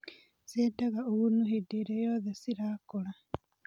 Ciendaga ũgunu hĩndĩĩrĩa yothe cirakũra.